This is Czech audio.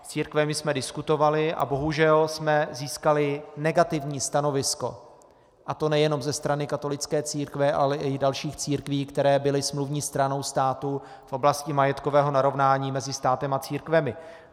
S církvemi jsme diskutovali a bohužel jsme získali negativní stanovisko, a to nejenom ze strany katolické církve, ale i dalších církví, které byly smluvní stranou státu v oblasti majetkového narovnání mezi státem a církvemi.